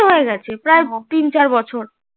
প্রায় তিন চার বছর